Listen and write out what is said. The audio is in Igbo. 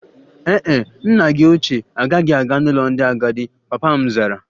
Ee e, nna gi oche agaghị aga n'ụlọ ndị agadi, papa m zara